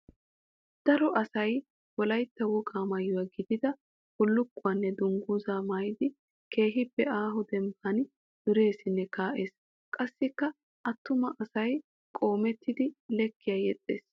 Daro asay wolaytta wogaa maayuwa gididda bulukkuwanne dungguzza maayidi keehippe aaho dembban dureessinne kaa'ees. Qassikka attuma asay qoomettiddi leekiya yexxees.